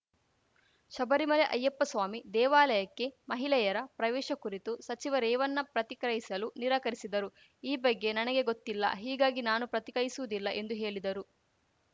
ಶಬರಿಮಲೆ ಅಯ್ಯಪ್ಪಸ್ವಾಮಿ ದೇವಾಲಯಕ್ಕೆ ಮಹಿಲೆಯರ ಪ್ರವೇಶ ಕುರಿತು ಸಚಿವ ರೇವನ್ನ ಪ್ರತಿಕ್ರಿಯಿಸಲು ನಿರಾಕರಿಸಿದರು ಈ ಬಗ್ಗೆ ನನಗೆ ಗೊತ್ತಿಲ್ಲ ಹೀಗಾಗಿ ನಾನು ಪ್ರತಿಕ್ರಿಯಿಸುವುದಿಲ್ಲ ಎಂದು ಹೇಲಿದರು